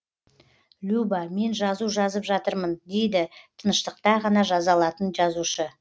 люба мен жазу жазып жатырмын дейді тыныштықта ғана жаза алатын жазушы